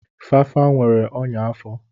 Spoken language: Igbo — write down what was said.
Fafa nwere ọnya afọ.